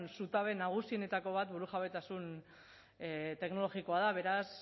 zutabe nagusienetako bat burujabetasun teknologikoa da beraz